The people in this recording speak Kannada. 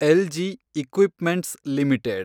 LG equipments limited